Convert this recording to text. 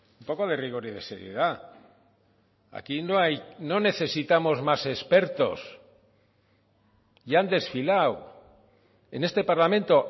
un poco de rigor y de seriedad aquí no hay no necesitamos más expertos y han desfilado en este parlamento